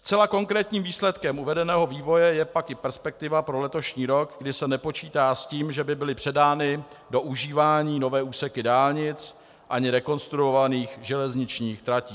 Zcela konkrétním výsledkem uvedeného vývoje je pak i perspektiva pro letošní rok, kdy se nepočítá s tím, že by byly předány do užívání nové úseky dálnic ani rekonstruovaných železničních tratí.